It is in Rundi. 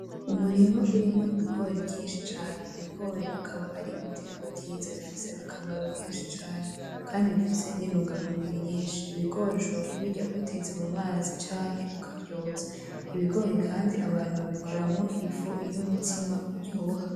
Umurima urimwo ibigori vyinshi cane, ibigori akaba ar'ibiterwa vyiza bifise akamaro kenshi cane kandi bifise n'intungamubiri nyinshi, ibigori ushobora kubirya ubitetse mumazi canke ukavyotsa, ibigori kandi abantu babikoramwo ifu y'umutima uryoha.